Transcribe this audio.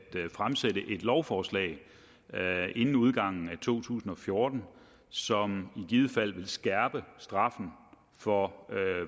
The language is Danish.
fremsætte et lovforslag inden udgangen af to tusind og fjorten som i givet fald vil skærpe straffen for